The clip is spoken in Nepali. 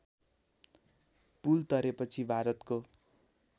पुल तरेपछि भारतको